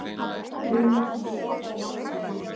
Hlynur með frábæran leik í sigri